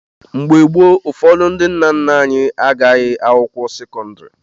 Mgbe gboo, ụfọdụ ndị nna nna anyị agụghị akwụkwọ sekọndrị.